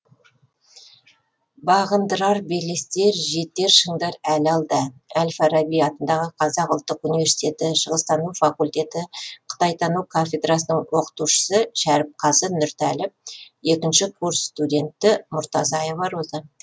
бағындырар белестер жетер шындар әлі алда әл фараби атындағы қазақ ұлттық университеті шығыстану факультеті қытайтану кафедрасының оқытушысы шәріпқазы нұртәліп екінші курс студенті мурзатаева роза